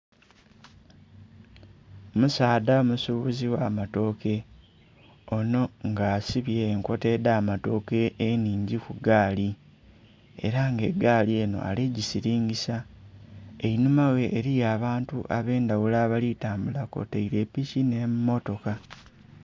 Omusaadha musubuzi gha matoke onho nga asibye enkota dha matoke enhingi ku gaali era nga egaali enho ali gisilingisa, einhuma ghe eriyo abantu abendhaghulo abali tambula kwotaire epiki nhe mmotoka.